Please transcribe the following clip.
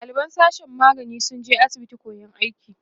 ɗaliban sashen magani sun je asibitin koyan aiki